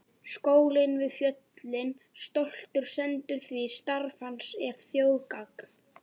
Skólinn við fjöllin stoltur stendur því starf hans er þjóðargagn.